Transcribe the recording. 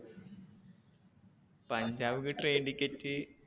പഞ്ചാബ്ക്ക് train ticket